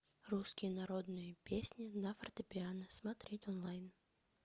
русские народные песни на фортепиано смотреть онлайн